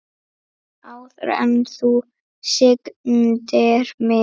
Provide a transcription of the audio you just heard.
Áður en þú signdir mig.